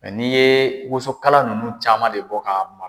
n'i ye wosokala nunnu caman de bɔ k'a mara.